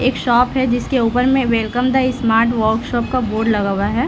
एक शॉप है जिसके ऊपर मे वेलकम द स्मार्ट वर्क्शाप का बोर्ड लगा हुआ है।